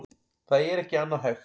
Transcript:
Það er ekki annað hægt